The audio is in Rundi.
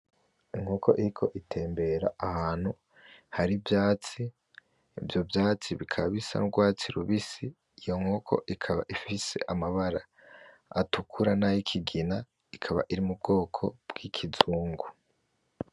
Inkoko iriko itembera ahantu hari ivyatsi, ivyo vyatsi bikaba bisa n'urwatsi rubisi, iyo nkoko ikaba ifise amabara atukura nay'ikigina, ikaba iri mu bwoko bwi'ikizungu.